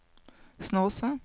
Snåsa